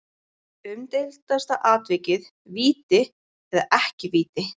Umdeildasta atvikið Víti eða ekki víti?